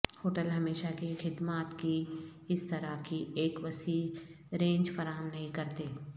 hotel ہمیشہ کی خدمات کی اس طرح کی ایک وسیع رینج فراہم نہیں کرتے